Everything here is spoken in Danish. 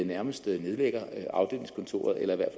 nærmest nedlægger afdelingskontoret eller i hvert